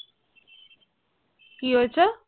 কি হয়েছে